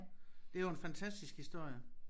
Det jo en fantastisk historie